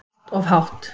Allt of hátt.